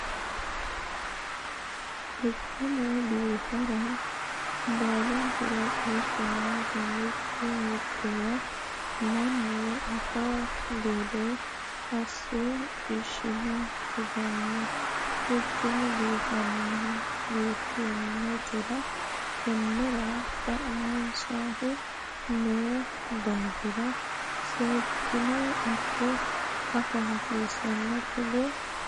Quchumu biinfilira baalunkura qeechu noonke mitto mittowa mannu afi gede asse ishine tugano quchuma biifinotera tenera xa'mamoshu no daafira seekkine afa hasiisano togoo manna.